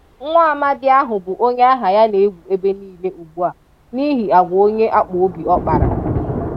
Nwaamadị ahụ bụ onye aha ya na-ewu ebe niile ugbua n'ihi agwa onye akpụobi ọ kpara.